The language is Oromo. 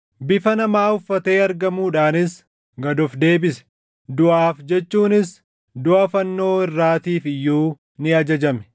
Bifa namaa uffatee argamuudhaanis, gad of deebise; duʼaaf jechuunis duʼa fannoo irraatiif iyyuu ni ajajame!